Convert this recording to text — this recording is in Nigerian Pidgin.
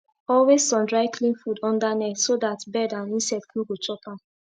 always sun dry clean food under net so dat bird and insect no go chop am